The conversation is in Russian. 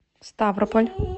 ставрополь